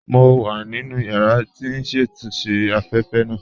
Mo wà nínu yàrà tí n ṣatúnṣe afẹ́fẹ́ naa